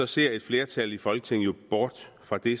ser et flertal i folketinget jo bort fra det